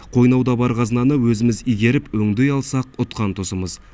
қойнауда бар қазынаны өзіміз игеріп өңдей алсақ ұтқан тұсымыз